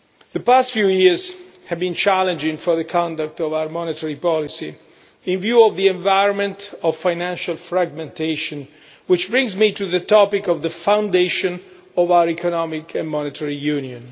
The past few years have been challenging for the conduct of our monetary policy in view of the environment of financial fragmentation, which brings me to the topic of the foundation of our economic and monetary union.